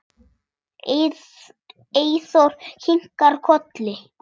Eyþór kinkar kolli.